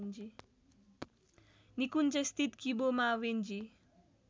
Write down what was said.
निकुञ्जस्थित Kibo Mawenzi